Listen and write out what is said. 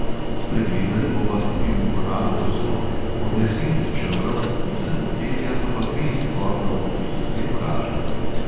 Pregledali bova tudi uporabo posode; od lesenih čebrov za kisanje zelja do bakrenih kotlov, ki se spet vračajo.